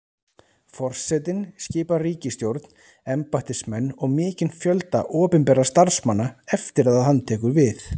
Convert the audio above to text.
Forsetinn skipar ríkisstjórn, embættismenn og mikinn fjölda opinberra starfsmanna eftir að hann tekur við.